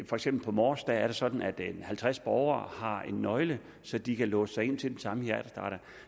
for eksempel på mors er det sådan at halvtreds borgere har en nøgle så de kan låse sig ind til den samme hjertestarter